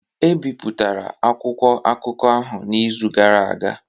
E bipụtara akwụkwọ akụkọ ahụ n’izu gara aga